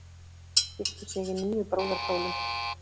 Gifti sig í níu brúðarkjólum